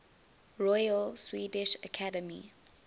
royal swedish academy